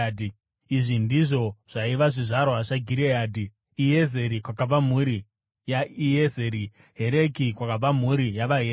Izvi ndizvo zvaiva zvizvarwa zvaGireadhi: Iezeri, kwakabva mhuri yaIezeri; Hereki, kwakabva mhuri yavaHereki;